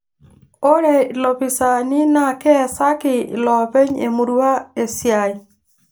Ore ilopisaani na keesaki iloopeny' emurua esiai